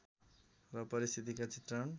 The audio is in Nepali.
र परिस्थितिका चित्रण